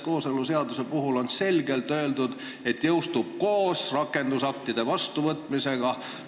Kooseluseaduse kohta öeldi selgelt, et see jõustub koos rakendusaktide vastuvõtmisega.